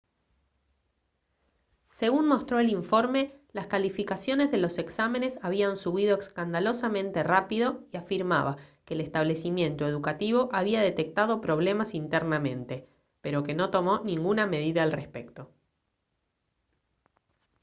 según mostró el informe las calificaciones de los exámenes habían subido escandalosamente rápido y afirmaba que el establecimiento educativo había detectado problemas internamente pero que no tomó ninguna medida al respecto